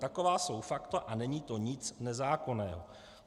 Taková jsou fakta a není to nic nezákonného.